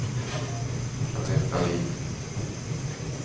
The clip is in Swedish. Jeanette Dahlin